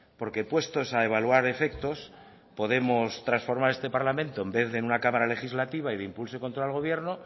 porque puestos a evaluar efectos podemos transformar este parlamento en vez de en una cámara legislativa y de impulso contra el gobierno